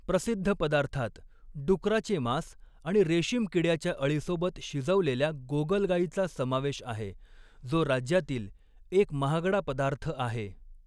प्रसिद्ध पदार्थांत डुकराचे मांस आणि रेस्कीमकिड्याच्या अळीसोबत शिजवलेल्या गोगलगाईचा समावेश आहे, जो राज्यातील एक महागडा पदार्थ आहे.